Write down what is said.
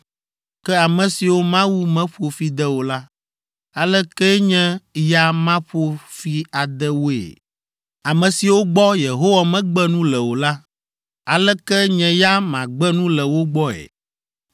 Ke ame siwo Mawu meƒo fi de o la, aleke nye ya maƒo fi ade woe? Ame siwo gbɔ Yehowa megbe nu le o la, aleke nye ya magbe nu le wo gbɔe?